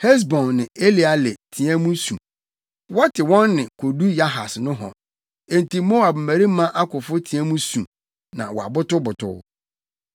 Hesbon ne Eleale teɛ mu su, wɔte wɔn nne kodu Yahas nohɔ. Enti Moab mmarima akofo teɛ mu su, na wɔbotobotow.